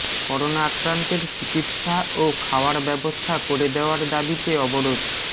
corona আক্রান্তের চিকিৎসা ও খাওয়ার ব্যবস্থা করে দেওয়ার দাবিতে অবরোধ